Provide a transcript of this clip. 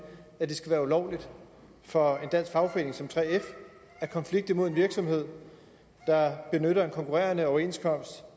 at det skal være ulovligt for en dansk fagforening som 3f at konflikte mod en virksomhed der benytter en konkurrerende overenskomst